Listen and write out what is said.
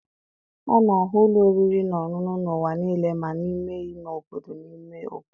A na-ahụ ụlọ oriri na ọṅụṅụ n'ụwa niile ma n'ime ime obodo na ime obodo